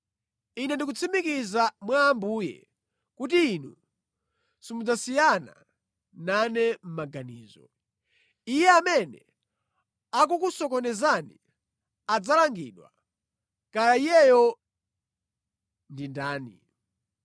Ine ndikutsimikiza mwa Ambuye kuti inu simudzasiyana nane maganizo. Iye amene akukusokonezani adzalangidwa, kaya iyeyo ndiye ndani.